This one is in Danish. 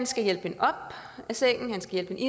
skal hjælpe hende op af sengen han skal